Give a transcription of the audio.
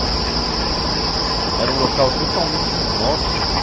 Mas era um local totalmente inóspito.